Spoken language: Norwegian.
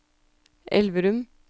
Elverum